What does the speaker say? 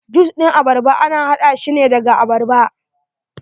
Jus ɗin abarba ana haɗa shine daga abarba.